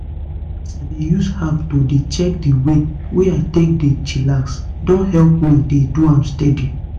as i dey use app to dey check di way wey i take dey chillax don help me dey do am steady.